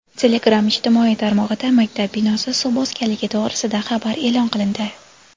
Telegram ijtimoiy tarmog‘ida maktab binosi suv bosganligi to‘g‘risida xabar e’lon qilindi.